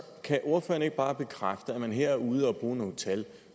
kan ordføreren ikke bare bekræfte at man her er ude og bruge nogle tal